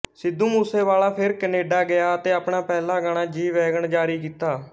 ਸਿੱਧੂ ਮੂਸੇ ਵਾਲਾ ਫਿਰ ਕੈਨੇਡਾ ਗਿਆ ਅਤੇ ਆਪਣਾ ਪਹਿਲਾ ਗਾਣਾ ਜੀ ਵੈਗਨ ਜਾਰੀ ਕੀਤਾ